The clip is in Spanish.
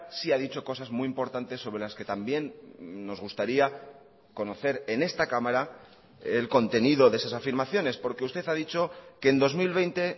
sí ha dicho cosas muy importantes sobre las que también nos gustaría conocer en esta cámara el contenido de esas afirmaciones porque usted ha dicho que en dos mil veinte